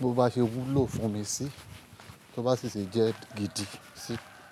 bó bá ṣe wúlò fún mi sí, tó bá sì ṣe jẹ́ gidi sì.